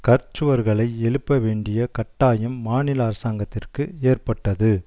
கற்சுவர்களை எழுப்பவேண்டிய கட்டாயம் மாநில அரசாங்கத்திற்கு ஏற்பட்டது